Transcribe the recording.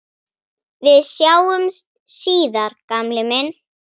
Við sjáumst síðar gamli minn.